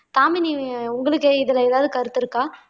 தாமினி உங்களுக்கு இதுல ஏதாவது கருத்து இருக்கா